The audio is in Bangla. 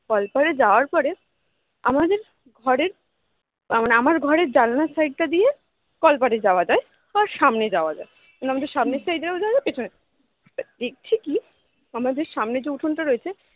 কলপাড়ে যাওয়ার পরে আমাদের ঘরের মানে আমার ঘরে জানলার side টা দিয়ে কলপাড়ে যাওয়া যায় সামনে যাওয়া যায় মানে সামনের side এ যাওয়া যায় পেছনে দেখছি কি আমাদের সামনে যে উঠোন টা রয়েছে